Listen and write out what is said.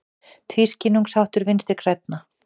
Tvískinnungsháttur Vinstri grænna